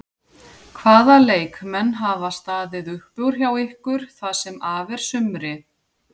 Hvaða leikmenn hafa staðið upp úr hjá ykkur það sem af er sumri?